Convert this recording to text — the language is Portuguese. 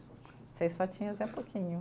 Seis fotinhos é pouquinho.